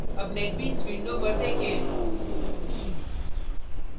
अब netbeans window पर देखें